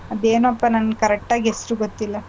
ಅದ್ಹೇನೋಪಾ ನಂಗ್ correct ಆಗ್ ಹೆಸ್ರು ಗೊತ್ತಿಲ್ಲ.